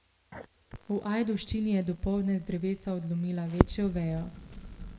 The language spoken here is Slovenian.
V Ajdovščini je dopoldne z drevesa odlomila večjo vejo.